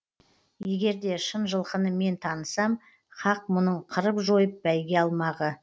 егер де шын жылқыны мен танысам хақ мұның қырып жойып бәйге алмағы